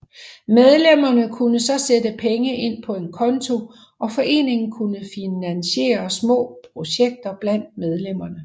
Medlemmerne kunne så sætte penge ind på en konto og foreningen kunne finansiere små projekter blandt medlemmerne